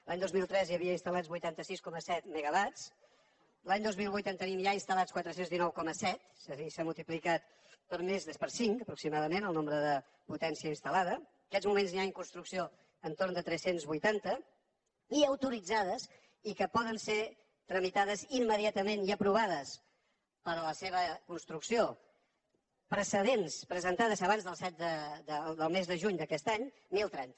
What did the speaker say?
l’any dos mil tres hi havia instal·lats vuitanta sis coma set megawatts l’any dos mil vuit en tenim ja instal·lats quatre cents i dinou coma set és a dir s’ha multiplicat per cinc aproximadament el nombre de potència instal·lada en aquests moments n’hi ha en construcció entorn de tres cents i vuitanta i autoritzades i que poden ser tramitades immediatament i aprovades per a la seva construcció precedents presentades abans del set del mes de juny d’aquest any deu trenta